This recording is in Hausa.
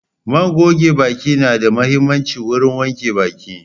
man goge baki na da muhimmanci wurin wanke baki.